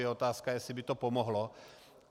Je otázka, jestli by to pomohlo.